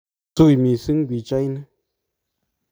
tui mising pichait ni